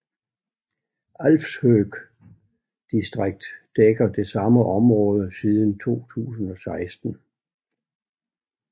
Alfshøg distrikt dækker det samme område siden 2016